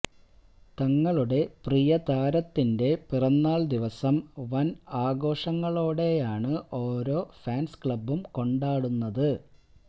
തങ്ങളുടെ പ്രീയ താരത്തിന്റെ പിറന്നാള് ദിവസം വന് ആഘോഷങ്ങളോടെയാണ് ഓരോ ഫാന്സ് ക്ലബ്ബുകളും കൊണ്ടാടുന്നത്